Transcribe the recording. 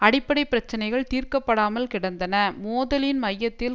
அடிப்படை பிரச்சினைகள் தீர்க்கப்படாமல் கிடந்தன மோதலின் மையத்தில்